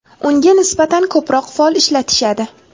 Unga nisbatan ko‘proq fol ishlatishadi.